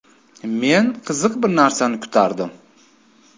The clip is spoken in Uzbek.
Men qiziq bir narsani kutardim.